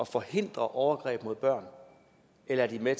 forhindre overgreb mod børn eller er de med